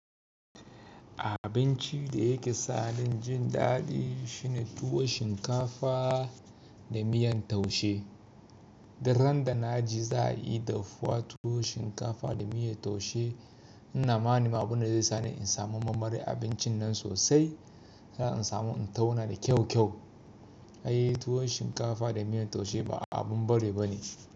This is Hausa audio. Abincin da yake sa ni jin daɗi shine tuwo shinkafa da miyan taushe. Daren da na ji za a yi dafuwa tuwo shinkafa da miyar taushe ina ma'ana abun da zai sa ni in samu marmari abincin nan sosai. Zai sa in samu in tauna da kyau kyau. Ai tuwo shinkafa da miyan taushe ba abin bari ba ne.